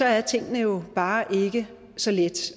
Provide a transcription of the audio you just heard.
er tingene jo bare ikke så lette